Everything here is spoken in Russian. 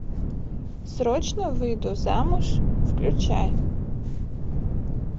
срочно выйду замуж включай